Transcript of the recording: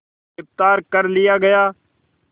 गिरफ़्तार कर लिया गया